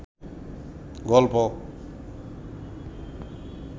গল্প